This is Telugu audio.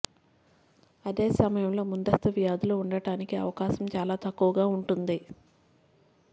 అదే సమయంలో ముందస్తు వ్యాధులు ఉండటానికి అవకాశం చాలా తక్కువగా ఉంటుంది